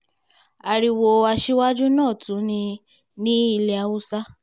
ariwo aṣíwájú náà tún ni ní ilẹ̀ haúsá